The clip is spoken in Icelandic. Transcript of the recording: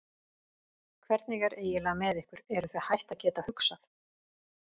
Hvernig er eiginlega með ykkur, eruð þið hætt að geta hugsað?